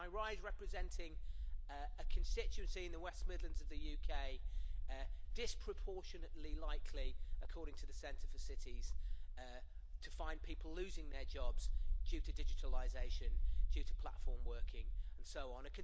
I rise representing a constituency in the West Midlands of the UK disproportionately likely according to the Centre for Cities to find people losing their jobs due to digitalisation, due to platform working and so on